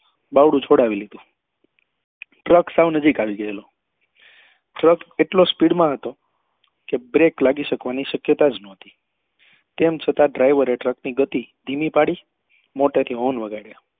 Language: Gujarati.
બાવડું છોડાવ્યું હતો ટ્રક સાવ નજીક આવી ગયેલો ટ્રક એટલો speed માં હતો કે break લાગી શકવા ની શક્યતા જ નહોતી તેમ છતાં driver એ ટ્રક ની ગતિ ધીમી પાડી મોટે થી horn વગાડ્યા